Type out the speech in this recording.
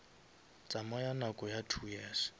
tsamaya nako ya two years